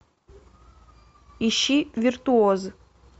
ищи виртуоз